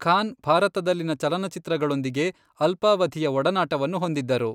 ಖಾನ್ ಭಾರತದಲ್ಲಿನ ಚಲನಚಿತ್ರಗಳೊಂದಿಗೆ ಅಲ್ಪಾವಧಿಯ ಒಡನಾಟವನ್ನು ಹೊಂದಿದ್ದರು.